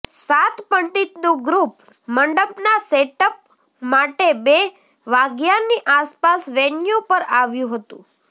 સાત પંડિતનું ગ્રૂપ મંડપના સેટઅપ માટે બે વાગ્યાની આસપાસ વેન્યૂ પર આવ્યું હતું